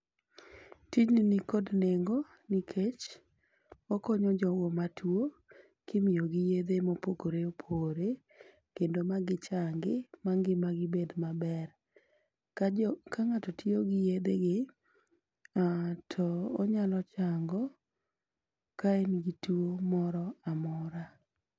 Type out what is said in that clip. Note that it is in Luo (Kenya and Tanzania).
Tijni nikod nengo nikech okonyo jogo matuo kimiyogi yedhe mopogore opogore, kendo ma gichangi ma ngima gi bed maber. Ka jo ka ng'ato tiyo gi yedhe gi, to onyalo chango ka en gi tuo moro amora.